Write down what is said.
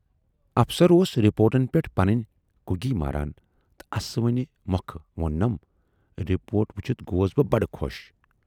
افسر اوس رِپوٹن پٮ۪ٹھ پنٕنۍ کُگی ماران تہٕ اسوٕنہِ مۅکھٕ ووننَم، رِپورٹ وُچھِتھ گَوس بہٕ بڈٕ خۅش